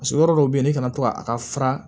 Paseke yɔrɔ dɔw bɛ yen ne fana to a ka fara